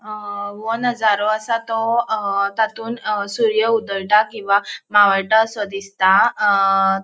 अ ओ नज़ारो असा तो अ तातुन अ सूर्यो उदयटा किंवा मावळटा असो दिसता अ --